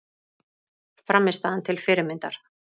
Frammistaðan til fyrirmyndar